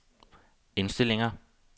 indstillinger